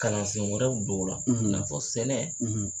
Kalansen wɛrɛw don o la i n'a fɔ sɛnɛ